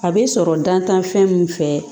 A bɛ sɔrɔ dantanfɛn min fɛ